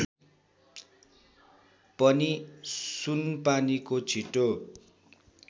पनि सुनपानीको छिटो